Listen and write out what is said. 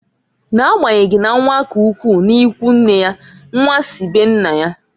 N'agbanyeghị na nwa k'ugwu n'ikwunne ya, nnwa si be nna ya.